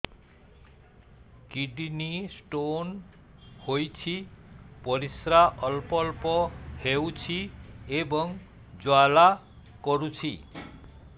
kidney stone ହୋଇଛି ପରିସ୍ରା ଅଳ୍ପ ଅଳ୍ପ ହେଉଛି ଏବଂ ଜ୍ୱାଳା କରୁଛି